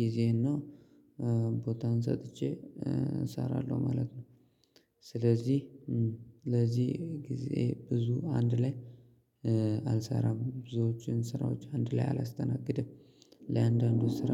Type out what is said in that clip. ጊዜ እና ቦታን ሰጥቼ እሰራለሁ ማለት ነው። ስለዚህ ለዚህ ጊዜ ብዙ አንድ ላይ አልሰራም ብዙዎችን ስራዎች አንድ ላይ አላስተናግድም። ለያንዳንዱ ስራ